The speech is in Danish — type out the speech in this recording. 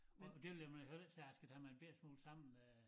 Og det vil jeg med at høre det så jeg skal tage mig en bette smule sammen øh